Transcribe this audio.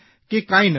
કે કાંઇ નથી